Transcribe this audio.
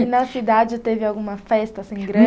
E na cidade teve alguma festa assim grande?